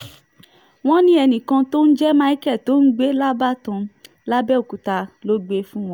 wọ́n ní ẹnìkan tó ń jẹ́ michael tó ń gbé lábàtàn làbẹ́ọ̀kúta ló gbé e fáwọn